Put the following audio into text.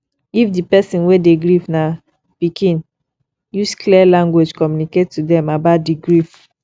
if di person wey dey grief na pikin use clear language communicate to them about di grief